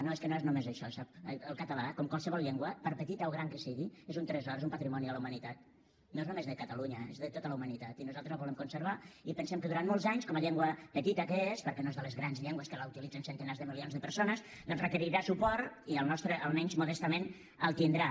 no és que no és només això sap el català com qualsevol llengua per petita o gran que sigui és un tresor és un patrimoni de la humanitat no és només de catalunya és de tota la humanitat i nosaltres el volem conservar i pensem que durant molts anys com a llengua petita que és perquè no és de les grans llengües que utilitzen centenars de milions de persones doncs requerirà suport i el nostre almenys modestament el tindrà